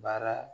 Baara